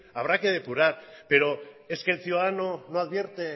habrá que depurar pero es que el ciudadano no advierte